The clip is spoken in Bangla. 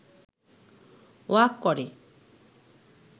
ওয়াক করে